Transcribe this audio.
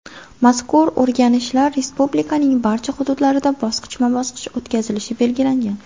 Mazkur o‘rganishlar respublikaning barcha hududlarida bosqichma-bosqich o‘tkazilishi belgilangan.